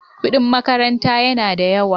Kudin makaranta yana da yawa.